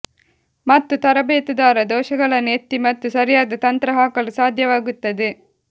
ಮತ್ತು ತರಬೇತುದಾರ ದೋಷಗಳನ್ನು ಎತ್ತಿ ಮತ್ತು ಸರಿಯಾದ ತಂತ್ರ ಹಾಕಲು ಸಾಧ್ಯವಾಗುತ್ತದೆ